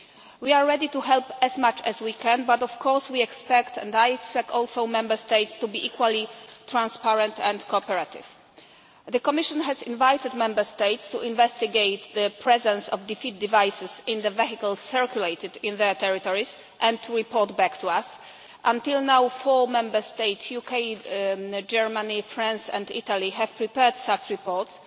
We are ready to help as much as we can, but, of course, we expect, and I also expect, Member States to be equally transparent and cooperative. The Commission has invited Member States to investigate the presence of defeat devices in the vehicles circulating on their territories and to report back to us. Until now, four Member States the UK, Germany, France and Italy have prepared such reports.